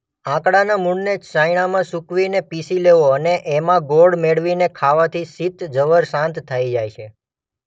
આંકડાના મૂળને છાંયડામાં સુકવીને પીસી લેવો અને એમાં ગોળ મેળવીને ખાવાથી શીત જ્વર શાંત થઇ જાય છે.